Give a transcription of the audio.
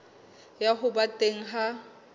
ya ho ba teng ha